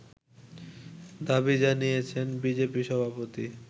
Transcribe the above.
দাবি জানিয়েছেন বিজেপি সভাপতি